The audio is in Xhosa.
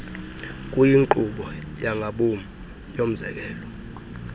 kuyinkqubo yangabom yomzekelo